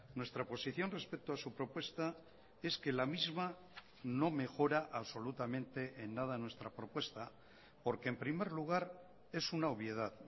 nuestra posición respecto a su propuesta es que la misma no mejora absolutamente en nada nuestra propuesta porque en primer lugar es una obviedad